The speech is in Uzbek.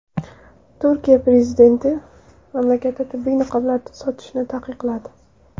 Turkiya prezidenti mamlakatda tibbiy niqoblar sotishni taqiqladi.